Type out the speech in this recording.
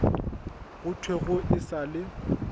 go thwego e sa le